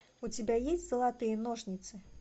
у тебя есть золотые ножницы